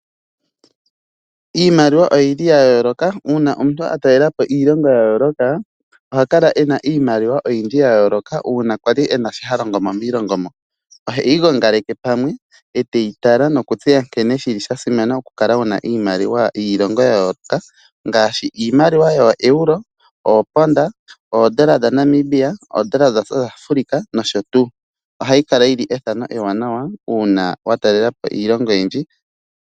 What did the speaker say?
Iimaliwa oya yooloka uuna omuntu atalela po iilongo ya yooloka, oha kala ena iimaliwa oyindji ya yooloka uuna ali ena shi ali ha longo mo miilongo mo. Oheyi gongaleke pamwe, eteyi tala nokuntseya nkene sha simana okukala wu na iimaliwa yiilongo ya yooloka ngaashi iimaliwa yooEuro, ooponda, oodola dhaNamibia, ooranda dhaSouth Africa nosho tuu. Ohashi kala ethano ewanawa uuna wa talela po iilongo oyindji.